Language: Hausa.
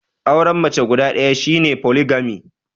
Auren mace guda ɗaya shi ne Foligami.